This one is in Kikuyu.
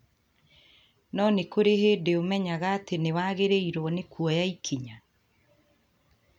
No nĩ kũrĩ hĩndĩ ũmenyaga atĩ nĩ wagĩrĩirũo nĩ kuoya ikinya.